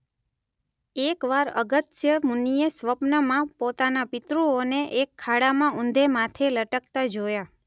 એક વાર અગસ્ત્ય મુનિએ સ્વપ્નમાં પોતાના પિતૃઓને એક ખાડામાં ઊંધે માથે લટકતા જોયા.